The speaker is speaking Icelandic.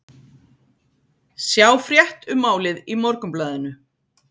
Sjá frétt um málið í Morgunblaðinu